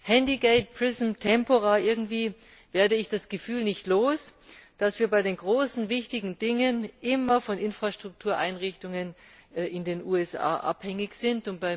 Handygate, Prism, Tempora irgendwie werde ich das Gefühl nicht los, dass wir bei den großen wichtigen Dingen immer von Infrastruktureinrichtungen in den USA abhängig sind.